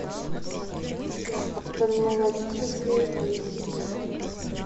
офтальмологическая клиника